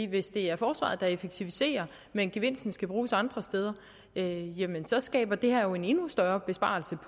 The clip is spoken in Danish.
hvis det er forsvaret der effektiviserer men gevinsten skal bruges andre steder så skaber det her jo en endnu større besparelser